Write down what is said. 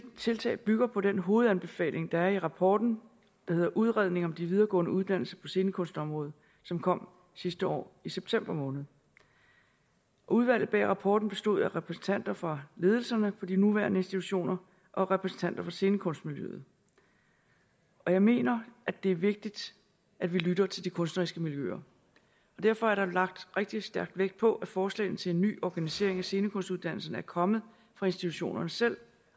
tiltag bygger på den hovedanbefaling der er i rapporten udredning om de videregående uddannelser på scenekunstområdet som kom sidste år i september måned udvalget bag rapporten bestod af repræsentanter for ledelserne på de nuværende institutioner og repræsentanter for scenekunstmiljøet jeg mener at det er vigtigt at vi lytter til de kunstneriske miljøer derfor er der lagt rigtig stærk vægt på at forslagene til en ny organisering af scenekunstuddannelserne er kommet fra institutionerne selv